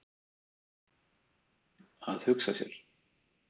Að hugsa sér.